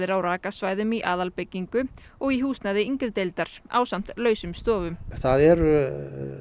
á rakasvæðum í aðalbyggingu og í húsnæði yngri deildar ásamt lausum stofum það eru